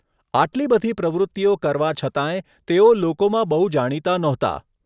આટલી બધી પ્રવૃતિઓ કરવા છતાંય, તેઓ લોકોમાં બહુ જાણીતા નહોતા.